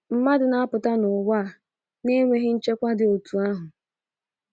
Mmadụ na - apụta n’ụwa a n’enweghị nchekwa dị otu ahụ.